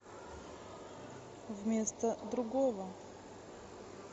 вместо другого